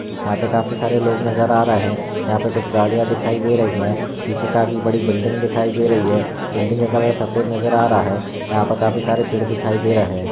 यहा पे काफी सारे लोग नजर आ रहे है यहा पे कुछ गाड़िया दिखाई दे रही है पीछे काफी बड़ी बिल्डिंग दिखाई दे रही है बिल्डिंग का कलर सफ़ेद नजर आ रहा है यहा पर काफी सारे पेड़ दिखाई दे रहे है।